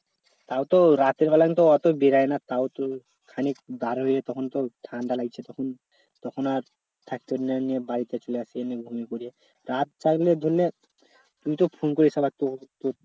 তাও তো রাতের বেলা কিন্তু অতো বেরোয় না তাও খানিক বার হলে তখন তো ঠাণ্ডা লাগছে তখন তখন আর বাড়িতে চলে আসছি তুই তো phone করে শালা